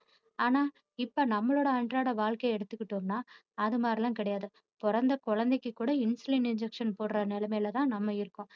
ஆனா இப்போ நம்மாளோட அன்றாட வாழ்க்கைய எடுத்துக்கிட்டோம்னா அது மாதிரியெல்லாம் கிடையாது பிறந்த குழந்தைக்கு கூட insulin injection போடுற நிலைமைலதான் நம்ம இருக்கோம்